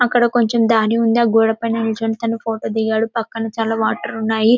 అక్కడ కొంచం దాని ఉంది గోడ పైన నిలుంచుకొని ఫోటో దిగాడు పక్కన చాలా వాటర్ ఉన్నాయి --